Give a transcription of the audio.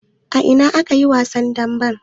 A ina ne aka yi wasan damben?